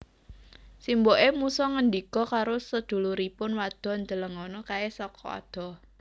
Simboké musa ngendika karo seduluripun wadon Delengono kaé saka adoh